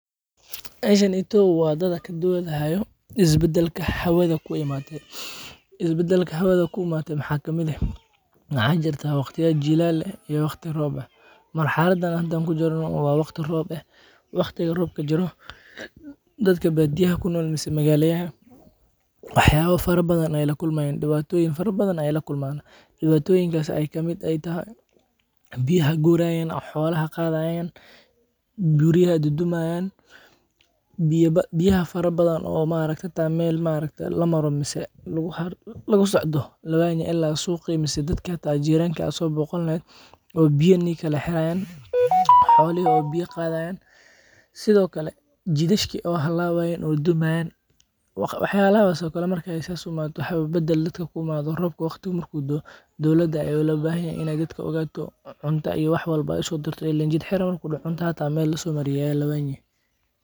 Meeshan waa dad ayaa doodi haayo, isbadalka hawada ku imaade, isbadalka hawada ku imaade waxaa kamid ah, waxaa jirtaa waqtiya jilaal eh iyo waqtiya roob ah, marxalada hada aan kujirno waa waqti roob ah, waqtiga roobka jiro dadka badiyaha kunool mise magalada, wax yaaba fara badan ayeey lakulmaayan, dibaatoyin fara badan ayeey lakulmaana, dibatooyinkaas aay kamid aay tahay, biyaha guurayan oo xoolaha qaadayan, guriyaha dudumaayan, biya fara badan oo xitaa meel lamaro lawaaynay, suuqi mise dadka xitaa jiiranka lasoo boqan Karin, oo biya nii kala xiraayan, xoolaha oo biya qaadayan, sido kale jidasha oo halabaayan oo dumaayan, wax yaabahas oo kale markeey saas u imaato, roobka markuu saas u doo, dowlada ayaa larabaa inaay dadka ogaato, cunto iyo wax walbo usoo dirto ileen jid xiran markuu daco cunto xitaa meel lasoo mariyo waa lawaayni.